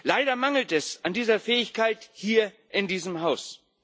Leider mangelt es an dieser Fähigkeit hier in diesem Haus.